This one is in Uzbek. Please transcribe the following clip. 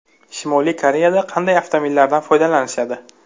Shimoliy Koreyada qanday avtomobillardan foydalanishadi?